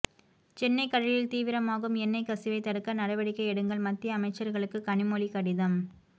சென்னை கடலில் தீவிரமாகும் எண்ணெய் கசிவைத் தடுக்க நடவடிக்கை எடுங்கள் மத்திய அமைச்சர்களுக்கு கனிமொழி கடிதம்